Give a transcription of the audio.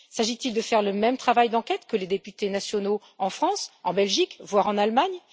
S'agit il de faire le même travail d'enquête que les députés nationaux en France, en Belgique, voire en Allemagne?